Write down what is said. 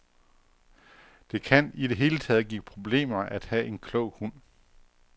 Det kan i det hele taget give problemer at have en klog hund.